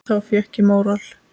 Þá fékk ég móral.